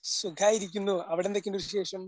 സുഖായിരിക്കുന്നു. അവിടെ എന്തൊക്കെയുണ്ട് വിശേഷം?